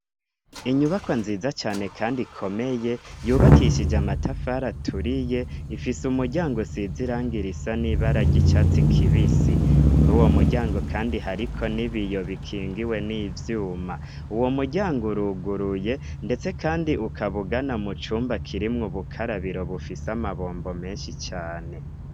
Inyubaka nziza cane, kandi ikomeye yubakishije amatafara aturiye ifise umuryango sizirangira isa n'ibararye icatsi kibisi kuri uwo muryango, kandi hariko ni biyo bikingiwe n'ivyuma uwo muryango uruguruye, ndetse, kandi ukabugana mu cumba kirimwo bukarabiro bufia si amabombo menshi cane.